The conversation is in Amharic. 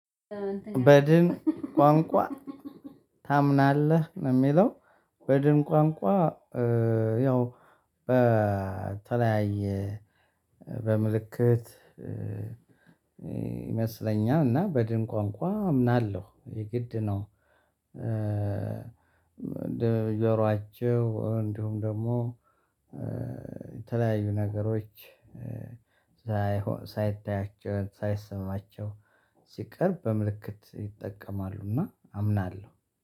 "በድን ቋንቋ ታምናለህ?" ነው የሚለው። በድን ቋንቋ ያው በተለያየ በምልክት ይመስለኛል። እና በድን ቋንቋ አምናለሁ። የግድ ነው እንደ ጆሯቸው እንዲሁም ደግሞ የተለያዩ ነገሮች ሳይሆ ሳይታያቸው ሳይሰማቸው ሲቀር በምልክት ይጠቀማሉ እና አምናለሁ።